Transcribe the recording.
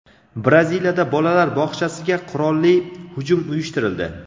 Braziliyada bolalar bog‘chasiga qurolli hujum uyushtirildi.